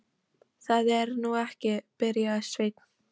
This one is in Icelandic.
Það er nú ekki. byrjaði Sveinn.